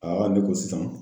ne ko sisan